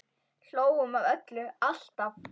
Hlógum að öllu, alltaf.